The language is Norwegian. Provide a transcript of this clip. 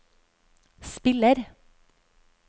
spiller